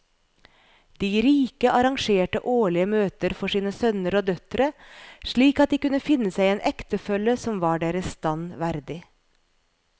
De rike arrangerte årlige møter for sine sønner og døtre slik at de kunne finne seg en ektefelle som var deres stand verdig.